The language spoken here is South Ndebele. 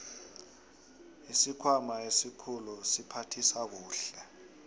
isikhwama esikhulu siphathisa kuhle